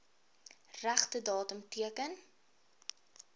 regte datum teken